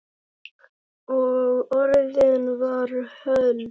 Og orðið varð hold.